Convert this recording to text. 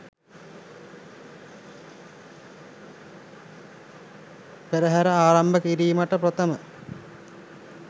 පෙරහර ආරම්භ කිරීමට ප්‍රථම